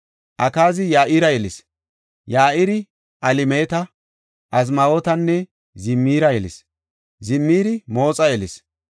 Akaazi Ya7ira yelis. Ya7iri Alemeeta, Azmaawetanne Zimira yelis. Zimiri Mooxa yelis;